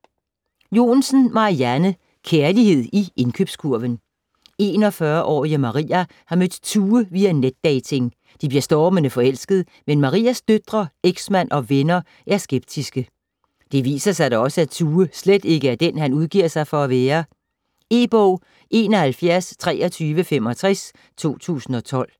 Joensen, Marianne: Kærlighed i indkøbskurven 41-årige Maria har mødt Tue via netdating. De bliver stormende forelsket, men Marias døtre, ex-mand og venner er skeptiske. Det viser sig også, at Tue slet ikke er den, han udgiver sig for at være. E-bog 712365 2012.